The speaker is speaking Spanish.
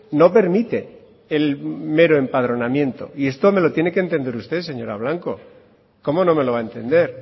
no permite el mero empadronamiento y esto me lo tiene que entender usted señora blanco cómo no me lo va a entender